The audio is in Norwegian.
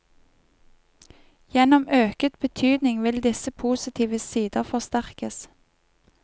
Gjennom øket betydning vil disse positive sider forsterkes.